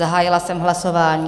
Zahájila jsem hlasování.